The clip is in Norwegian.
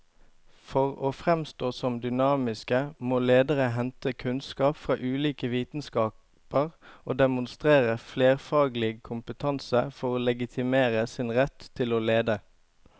For å framstå som dynamiske må lederne hente kunnskap fra ulike vitenskaper og demonstrere flerfaglig kompetanse for å legitimere sin rett til å lede.